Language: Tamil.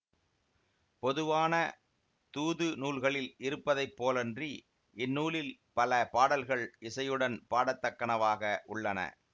பொதுவான தூது நூல்களில் இருப்பதை போலன்றி இந்நூலில் பல பாடல்கள் இசையுடன் பாட தக்கனவாக உள்ளன